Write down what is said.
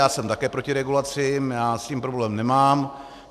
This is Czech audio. Já jsem také proti regulacím, já s tím problém nemám.